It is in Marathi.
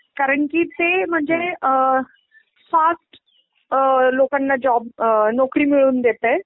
कारण की ते म्हणजे अ फास्ट अ लोकांना जॉब अ नोकरी मिळवून देतंय